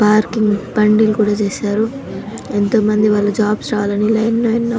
parking బండ్లు కూడా చేశారు ఎంతో మంది వాళ్ళ జాబ్స్ రావాలని లైన్ లో --